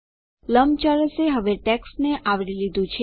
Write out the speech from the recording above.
લંબચોરસે હવે ટેક્સ્ટને આવરી લીધું છે